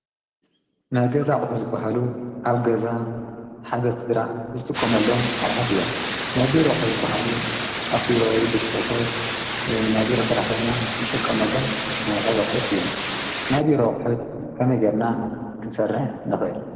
ናይ ገዛ ኣቝሒ ዝበሃሉ ኣብ ሓደ ገዛ ሓደ ስድራ ዝጥቆም ኣሎም ኣቝሑት እዮም ናቢ ሮዂት ዝበሃሉ ኣብ ቢሮወይ ብጽርፈት ናቢሮ ሠራሕተኛ ዝጥቆም ኣሎም ኣይነታ ዘቝት እዮም ናቢ ረዂሒት ከመይገርና ኽንሠርሕ ነኸል?